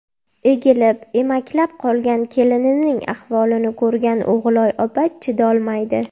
Egilib, emaklab qolgan kelinining ahvolini ko‘rgan O‘g‘iloy opa chidayolmaydi.